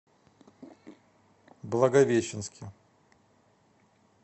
благовещенске